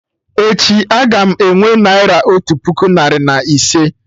Echi, a-ga m enwe Naira otu puku narị na ise